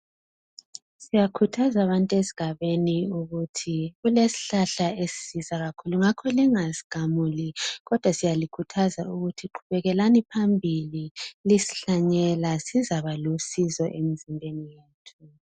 Siyakhuzatha abantu esigabeni ukuthi kukesihlahla esisiza kakhulu ngakho lingasigamuli kodwa siyakhutha ukuthi qhubekelani phambili lisihlanyelo sizaba lusizo emzimbeni yethu